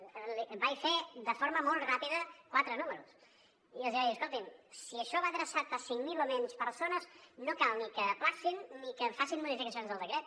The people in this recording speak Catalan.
li vaig fer de forma molt ràpida quatre números i els vaig dir escoltin si això va adreçat a cinc mil o menys persones no cal ni que ajornin ni que facin modificacions del decret